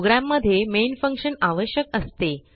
programme मध्ये main function आवश्यक असते